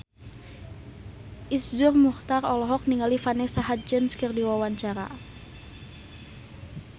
Iszur Muchtar olohok ningali Vanessa Hudgens keur diwawancara